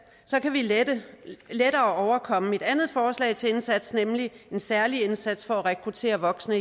kan vi lettere overkomme mit andet forslag til indsats nemlig en særlig indsats for igen at rekruttere voksne